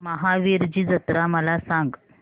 महावीरजी जत्रा मला सांग